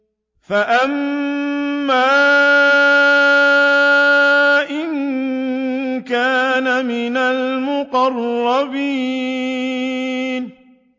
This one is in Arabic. فَأَمَّا إِن كَانَ مِنَ الْمُقَرَّبِينَ